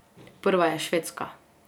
Prva je Švedska.